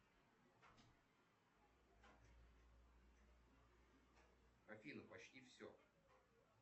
афина почти все